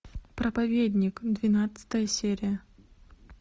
проповедник двенадцатая серия